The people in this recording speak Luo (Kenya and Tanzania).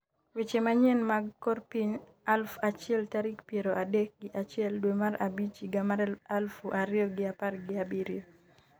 weche manyien mag kor piny aluf achiel tarik piero adek gi achiel dwe mar abich higa mar aluf ariyo gi apar gi abiriyo